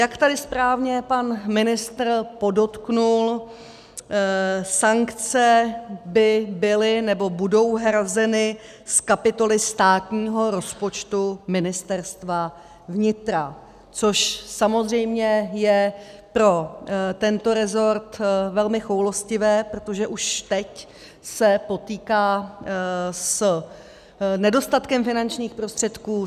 Jak tady správně pan ministr podotkl, sankce by byly, nebo budou hrazeny z kapitoly státního rozpočtu Ministerstva vnitra, což samozřejmě je pro tento rezort velmi choulostivé, protože už teď se potýká s nedostatkem finančních prostředků.